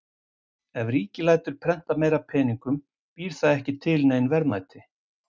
Ef ríkið lætur prenta meira af peningum býr það ekki til nein verðmæti.